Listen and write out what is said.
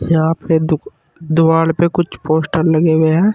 यहां पे दु दुवाल पे कुछ पोस्टर लगे हुए हैं।